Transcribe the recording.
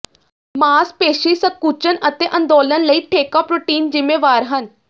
ਮਾਸਪੇਸ਼ੀ ਸੰਕੁਚਨ ਅਤੇ ਅੰਦੋਲਨ ਲਈ ਠੇਕਾ ਪ੍ਰੋਟੀਨ ਜ਼ਿੰਮੇਵਾਰ ਹਨ